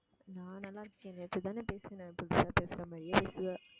நான் நல்லா இருக்கேன் நேத்து தானே பேசினேன் புதுசா பேசுற மாதிரியே பேசுவ